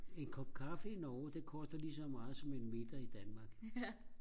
en kop kaffe i Norge det koster lige så meget som en middag i Danmark